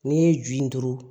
N'i ye ju in turu